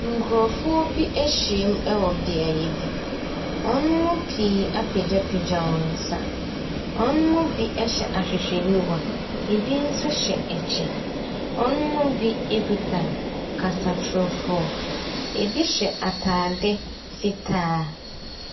Nkurɔfoɔ bi ahyiam wɔ beaeɛ bi. Wɔn mu pii apagyapagya wɔn nsa. Wɔn mu bi hyɛ ahwehwɛniwa. Ebi nso hyɛ kyɛ. Wɔn mu bi kuta kasatorofoɔ. Ebi hyɛ atade fitaa.